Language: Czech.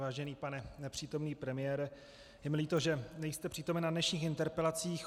Vážený pane nepřítomný premiére, je mi líto, že nejste přítomen na dnešních interpelacích.